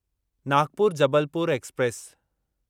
Nagpur Jabalpur express